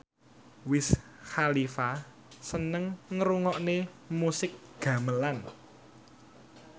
Wiz Khalifa seneng ngrungokne musik gamelan